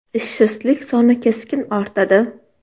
Ishsizlik soni keskin ortadi.